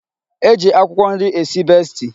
E ji akwụkwọ nri esi besti.